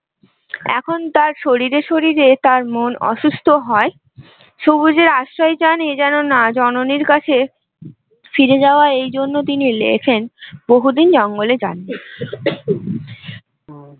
এখন তার শরীরে শরীরে তার মন অসুস্থ হয় সবুজের আশ্রয় চান এ যেন না এই জননীর কাছে ফিরে যাওয়া এই জন্য তিনি লেখেন বহুদিন জঙ্গলে যাননি